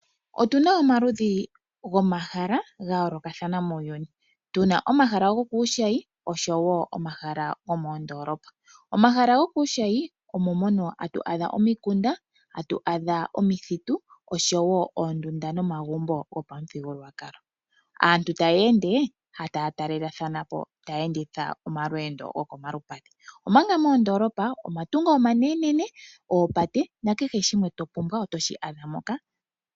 Otuna omaludhi gomahala gayoolokathana muuyuni. Tuna omahala gokuushayi oshowo omahala gomoondoolopa. Omahala gokuushayi omo mono hatu adha omikunda, omithitu oshowo oondunda nomagumbo gopamuthigululwakalo. Aantu taya ende taya talelathana po taya enditha omalweendo gokolupadhi omanga moondoolopa omatungo omanene, oopate nakehe shimwe topumbwa otoshi adha moka.